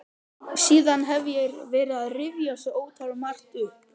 Síðan hef ég verið að rifja svo ótalmargt upp.